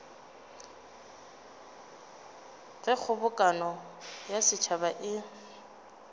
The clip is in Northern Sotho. ge kgobokano ya setšhaba e